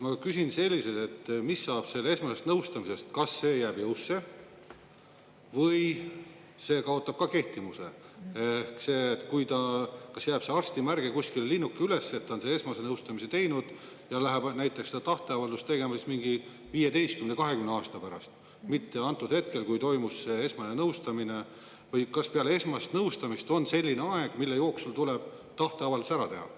Ma küsin selliselt, et mis saab sellest esmasest nõustamisest, kas see jääb jõusse või see kaotab ka kehtivuse, kas jääb see arsti märge kuskile, linnuke üles, et on selle esmase nõustamise teinud ja läheb näiteks seda tahteavaldust tegema mingi 15–20 aasta pärast, mitte antud hetkel, kui toimus esmane nõustamine, või kas peale esmast nõustamist on selline aeg, mille jooksul tuleb tahteavaldus ära teha.